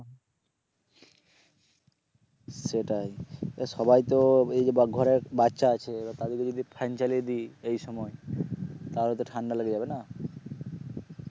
সেটাই, তা সবাই তো এই যে ঘরে বাচ্চা আছে তাহলে যদি ফ্যান চালিয়ে দি এই সময় তাহলে ঠান্ডা লেগে যাবে না